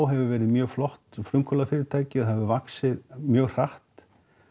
hefur verið mjög flott frumkvöðlafyrirtæki og það hefur vaxið mjög hratt